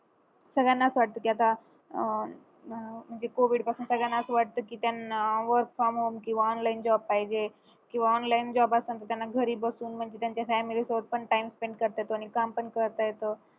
सगळ्यांनाच वाटतं की आता अं म्हणजे covid पासून सगळ्यांना असं वाटतं की त्यांना online job पाहिजे किंवा online job असेल तर त्यांना घरी बसून म्हणजे त्यांच्या family सोबत पण time spent करता येतो आणि काम पण करता येत